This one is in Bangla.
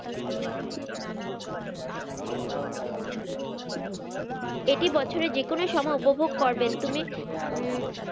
এটি বছরে যে কোন সময় উপভোগ করবেন তুমি উম